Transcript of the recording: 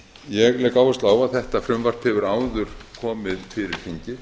ég legg áherslu á að þetta frumvarp hefur áður komið fyrir þingið